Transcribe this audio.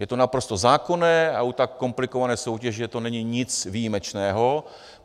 Je to naprosto zákonné a u tak komplikované soutěže to není nic výjimečného.